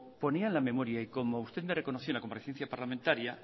ponía en la memoria y como usted me reconoció en la comparecencia parlamentaria